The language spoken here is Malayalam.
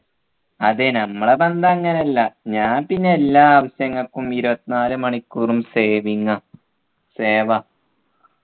അതെ ഞമ്മളെ ബന്ധം അങ്ങനെയല്ല ഞാൻ പിന്നെ എല്ലാ ആവശ്യങ്ങൾക്കും ഇരുപത്തിനാലു മണിക്കൂറും saving ആ save ആ